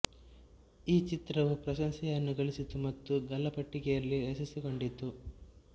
ಈ ಚಿತ್ರವು ಪ್ರಶಂಸೆಯನ್ನು ಗಳಿಸಿತು ಮತ್ತು ಗಲ್ಲಾಪೆಟ್ಟಿಗೆಯಲ್ಲಿ ಯಶಸ್ಸು ಕಂಡಿತು